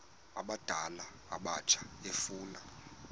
abadala abatsha efuna